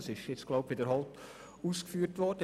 Dies ist nun verschiedentlich ausgeführt worden.